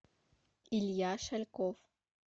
илья шальков